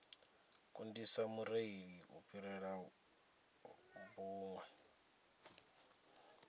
kundisa mureili u fhirela vhuṅwe